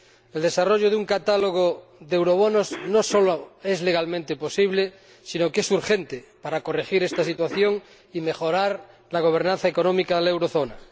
El desarrollo de un catálogo de eurobonos no sólo es legalmente posible sino que es urgente para corregir esta situación y mejorar la gobernanza económica de la eurozona.